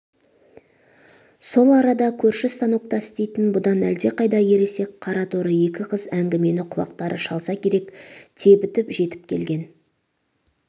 сол арада көрші станокта істейтін бұдан әлдеқайда ересек қараторы екі қыз әңгімені құлақтары шалса керек тебітіп жетіп келген